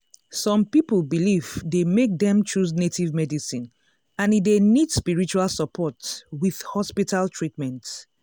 some people belief dey make dem choose native medicine and e dey need spiritual support with hospital treatment.